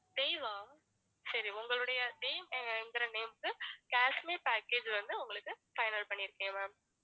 தேவ் ஆ சரி உங்களுடைய தேவ் எங்கிற name க்கு காஷ்மீர் package வந்து உங்களுக்கு final பண்ணிருக்கேன் ma'am